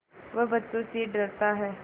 वह बच्चों से डरता है